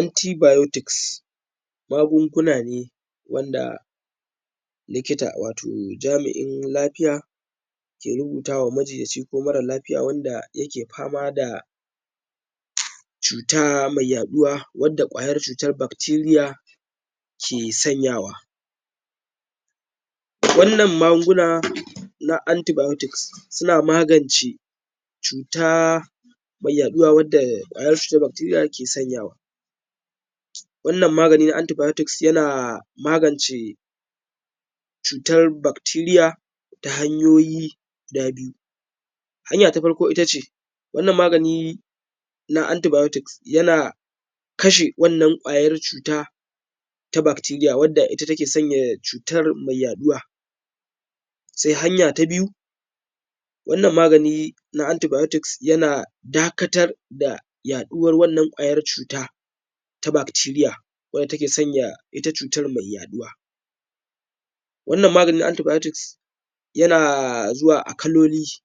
antibiotics magunguna ne wanda likita wato jami'in lafiya ke rubuta wa majinyaci ko mara lafiya wanda yake fama da cuta mai yaɗuwa wanda ƙwayan cutar bacteria ke sanyawa wannan magunguna na antibiotics suna magance cuta mai yaɗuwa wanda ƙwayar cutar bacteria ke sanyawa wannan magunguna na antibiotics suna maganci cuta mai yaɗuwa wanda ƙwayar bacteria ke sanyawa wannan magani na antibiotics yana magance cutar bacteria ta hanyoyi guda biyu hanya ta farko ita ce wannan magani na antibiotics yana kashe wannan ƙwayar cuta ta bacteria wanda ita ke sanya cutar mai yaɗuwa sai hanya ta biyu wannan magani na antibiotics yana dakatar da yaɗuwar wannan ƙwayar cuta ta bacteria wanda ta ke sanya ita cuta mai yaɗuwa wannan magani na antibiotics yana zuwa a kaloli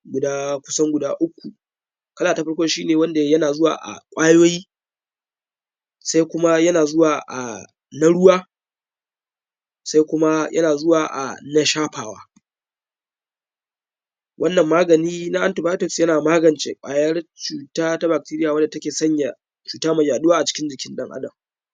kusan guda uku kala ta farko shi ne wanda yana zuwa a ƙwayoyi sai kuma yana zuwa a na ruwa sai kuma yana zuwa a na shafawa wannan magani na antibiotics yana magance ƙwayar cuta ta bacteria wanda ta ke sanya cuta mai yaɗuwa a cikin jikin ɗan adam